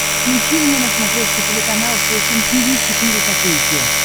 включи мне на смотрешке телеканал фэшн ти ви четыре ка